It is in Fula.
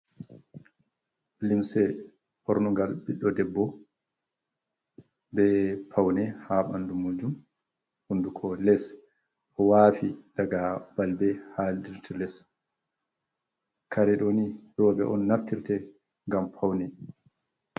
Limse ɓornugal ɓiɗdo debbo be paune ha ɓandu majum hunduko les wafi daga balbe ha dirti les, kare ɗoni roɓɓe on naftirte ngam paune.